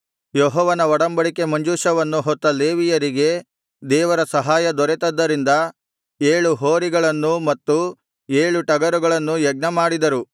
ಯೆಹೋವನ ಒಡಂಬಡಿಕೆ ಮಂಜೂಷವನ್ನು ಹೊತ್ತ ಲೇವಿಯರಿಗೆ ದೇವರ ಸಹಾಯ ದೊರೆತದ್ದರಿಂದ ಏಳು ಹೋರಿಗಳನ್ನೂ ಮತ್ತು ಏಳು ಟಗರುಗಳನ್ನೂ ಯಜ್ಞಮಾಡಿದರು